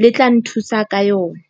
le tla nthusa ka yona?